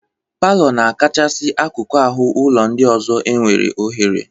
Palọ na-akasị akụkụ ahụ ụlọ ndị ọzọ enwe ọhere.